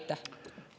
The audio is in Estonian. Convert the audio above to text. Aitäh!